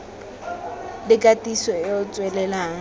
le katiso e e tswelelang